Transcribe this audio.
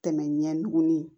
Tɛmɛ ɲɛguni